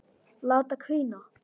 Láta hvína.